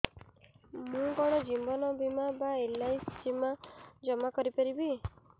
ମୁ କଣ ଜୀବନ ବୀମା ବା ଏଲ୍.ଆଇ.ସି ଜମା କରି ପାରିବି